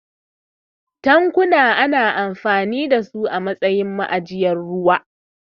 Tankuna ana amfani da su a matsayin ma'ajiyar ruwa.